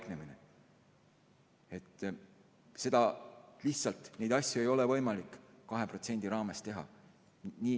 Neid asju lihtsalt ei ole võimalik 2% raames teha.